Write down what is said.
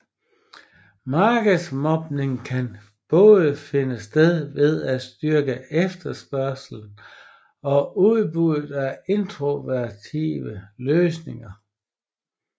Markedsmodning kan både finde sted ved at styrke efterspørgslen og udbuddet af innovative løsninger